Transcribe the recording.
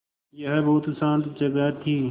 यह बहुत शान्त जगह थी